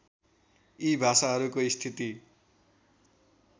यी भाषाहरूको स्थिति